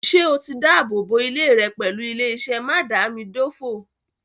Ṣé o ti dábòbò ilé rẹ̀ pẹ̀lú ilé-iṣẹ́ mádàámidófò